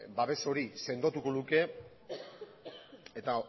babes hori sendotuko luke eta